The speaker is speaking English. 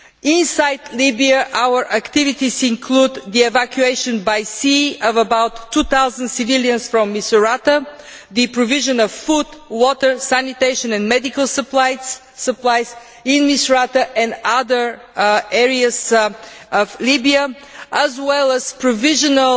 Inside Libya, our activities include the evacuation by sea of about 2000 civilians from Misrata, the provision of food, water, sanitation and medical supplies in Misrata and other areas of Libya, and provisional